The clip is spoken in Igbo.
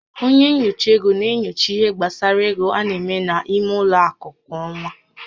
Onye nyocha ego na-enyocha ihé gbasara égo a na-eme n'ime ụlọ akụ kwa ọ́nwá